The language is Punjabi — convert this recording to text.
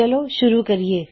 ਚਲੋ ਸ਼ੁਰੂ ਕਰਿਏ